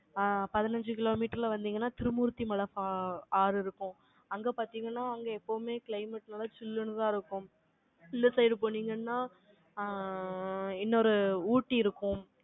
ஆ, பதினஞ்சு கிலோமீட்டர்ல வந்தீங்கன்னா, திருமூர்த்திமலை ஆ ஆறு இருக்கும். அங்க பார்த்தீங்கன்னா, அங்க எப்பவுமே climate நல்லா chill ன்னுதான் இருக்கும். இந்த side போனீங்கன்னா, ஆ, இன்னொரு ஊட்டி இருக்கும்.